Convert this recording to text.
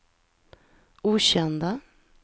okända